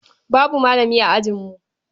Babu malami a ajinmu.